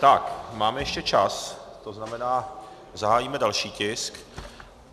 Tak, máme ještě čas, to znamená, zahájíme další tisk.